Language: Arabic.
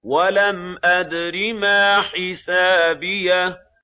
وَلَمْ أَدْرِ مَا حِسَابِيَهْ